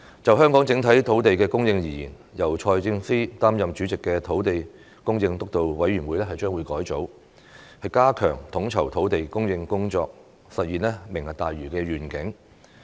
就香港整體土地供應而言，由財政司司長擔任主席的土地供應督導委員會將會改組，加強統籌土地供應工作，實現"明日大嶼願景"。